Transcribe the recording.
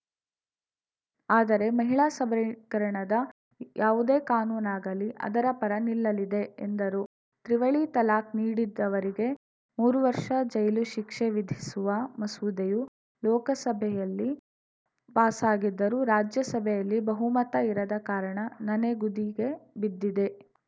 ಆದರೆ ಮಹಿಳಾ ಸಬಲೀಕರಣದ ಯಾವುದೇ ಕಾನೂನಾಗಲಿ ಅದರ ಪರ ನಿಲ್ಲಲಿದೆ ಎಂದರು ತ್ರಿವಳಿ ತಲಾಖ್‌ ನೀಡಿದ್ದವರಿಗೆ ಮೂರು ವರ್ಷ ಜೈಲು ಶಿಕ್ಷೆ ವಿಧಿಸುವ ಮಸೂದೆಯು ಲೋಕಸಭೆಯಲ್ಲಿ ಪಾಸಾಗಿದ್ದರೂ ರಾಜ್ಯಸಭೆಯಲ್ಲಿ ಬಹುಮತ ಇರದ ಕಾರಣ ನನೆಗುದಿಗೆ ಬಿದ್ದಿದೆ